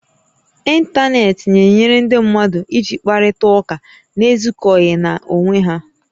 Intanetị na-enyere ndị mmadụ iji kparịta ụka na-ezukọghị na-onwé ha